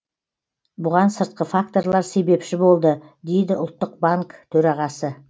бұған сыртқы факторлар себепші болды дейді ұлттық банк төрағасы